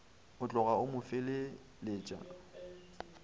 a tlogo go mo feleletša